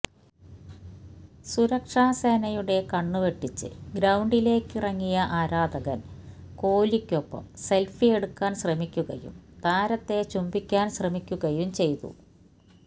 സുരക്ഷാസേനയുടെ കണ്ണുവെട്ടിച്ച് ഗ്രൌണ്ടിലേക്കിറങ്ങിയ ആരാധകന് കോലിക്കൊപ്പം സെല്ഫി എടുക്കാന് ശ്രമിക്കുകയും താരത്തെ ചുംബിക്കാന് ശ്രമിക്കുകയും ചെയ്തു